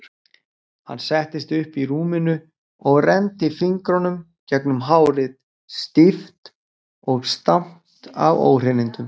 Hann settist upp í rúminu og renndi fingrunum gegnum hárið, stíft og stamt af óhreinindum.